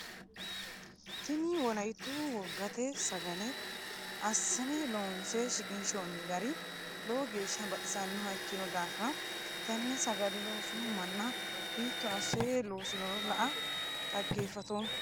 Tinni wolayitu wogate sagale asinne loonse shiqinshoonni gari lowo geesha baxisanoha ikino daafira tenne sagale loosino manna hiito ase loosinoro lae xageefatoomo